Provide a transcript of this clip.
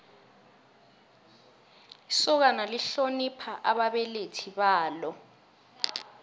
isokana lihlonipha ababelethi balo